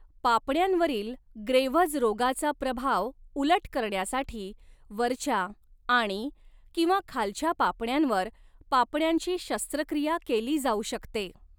पापण्यांवरील Graves रोगाचा प्रभाव उलट करण्यासाठी वरच्या आणि किंवा खालच्या पापण्यांवर पापण्यांची शस्त्रक्रिया केली जाऊ शकते.